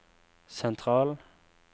sentral